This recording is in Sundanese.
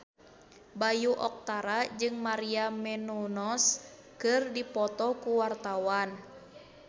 Bayu Octara jeung Maria Menounos keur dipoto ku wartawan